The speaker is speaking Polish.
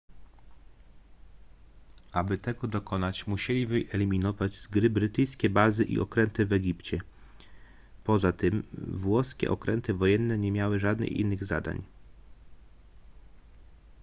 aby tego dokonać musieli wyeliminować z gry brytyjskie bazy i okręty w egipcie poza tym włoskie okręty wojenne nie miały żadnych innych zadań